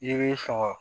I b'i sɔgɔ